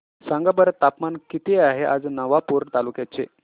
सांगा बरं तापमान किता आहे आज नवापूर तालुक्याचे